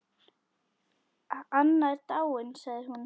Anna er dáin sagði hún.